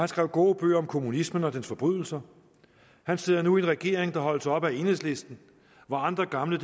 skrev gode bøger om kommunismen og dens forbrydelser han sidder nu i en regering der holdes oppe af enhedslisten hvor andre gamle